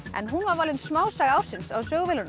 en hún var valin smásaga ársins á